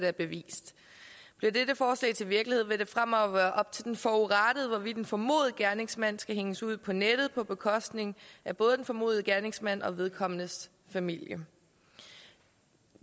er bevist bliver dette forslag til virkelighed vil det fremover være op til den forurettede hvorvidt en formodet gerningsmand skal hænges ud på nettet på bekostning af både den formodede gerningsmand og vedkommendes familie det